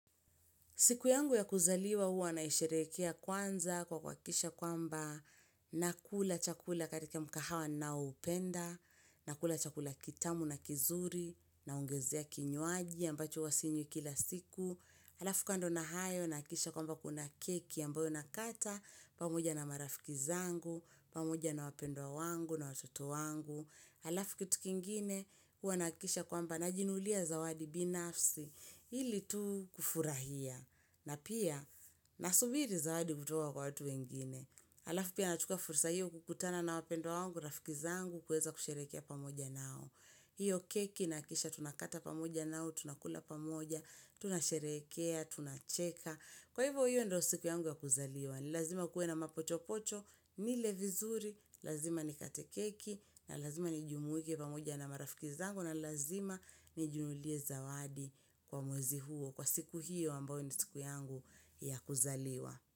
Siku yangu ya kuzaliwa huwa naisherekea kwanza kwa kuhakikisha kwamba nakula chakula katika mkahawa ninaoupenda, nakula chakula kitamu na kizuri, naongezea kinywaji ambacho huwa sinywi kila siku. Halafu kando na hayo nahakikisha kwamba kuna keki ambayo nakata, pamuja na marafikizangu, pamoja na wapendwa wangu na watoto wangu. Halafu kitu kingine huwa nahakikisha kwamba na jinulia zawadi binafsi ili tu kufurahia. Na pia, nasubiri zawadi kutoka kwa watu wengine. Alafu pia nachukua fursa hiyo kukutana na wapendwa wangu, rafikizangu, kuweza kusherekea pamoja nao. Hiyo keki nahakikisha tunakata pamoja nao, tunakula pamoja, tunasherekea, tunacheka. Kwa hivo hiyo ndo siku yangu ya kuzaliwa. Ni lazima kuwe na mapochopocho, nile vizuri, lazima nikate keki, na lazima ni jumuike pamoja na marafikizangu, na lazima ni jinunulie zawadi kwa mwezi huo. Kwa siku hiyo ambayo ni siku yangu ya kuzaliwa.